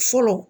Fɔlɔ